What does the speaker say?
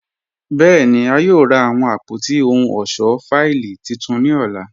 Bẹẹni, a yòò rà awọn àpótí ọhun ọṣọ fáílì títún ni ọlá.